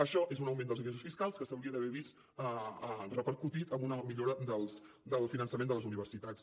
això és un augment dels ingressos fiscals que s’hauria d’haver vist repercutit en una millora del finançament de les universitats